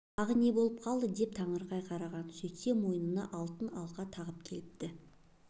тағы не болып қалды деп таңырқай қараған сөйтсе мойнына алтын алқа тағып келіпті